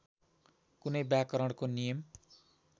कुनै व्याकरणको नियम